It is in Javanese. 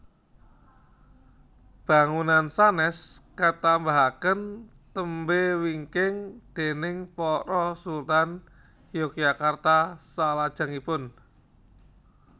Bangunan sanès katambahaken tembé wingking déning para Sultan Yogyakarta salajengipun